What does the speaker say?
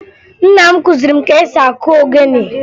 Nna m kụziri m ka esi akụ ogene